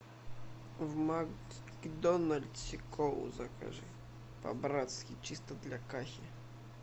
в макдональдсе колу закажи по братски чисто для кахи